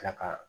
Tila ka